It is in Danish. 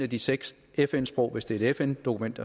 de seks fn sprog hvis det er et fn dokument